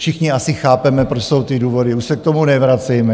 Všichni asi chápeme, proč jsou ty důvody, už se k tomu nevracejme.